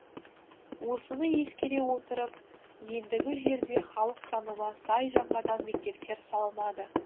осыны ескере отырып ендігі жерде халық санына сай жаңадан мектептер салынады